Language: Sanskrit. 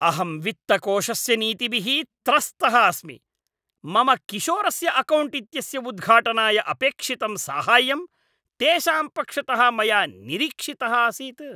अहं वित्तकोषस्य नीतिभिः त्रस्तः अस्मि। मम किशोरस्य अकौण्ट् इत्यस्य उद्घाटनाय अपेक्षितं साहाय्यम् तेषां पक्षतः मया निरीक्षितः आसीत्।